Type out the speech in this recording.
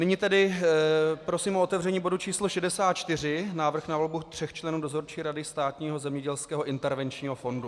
Nyní tedy prosím o otevření bodu číslo 64 - Návrh na volbu tří členů Dozorčí rady Státního zemědělského intervenčního fondu.